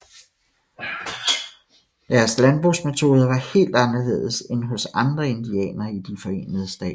Deres landbrugsmetoder var helt anderledes end hos andre indianere i de Forenede Stater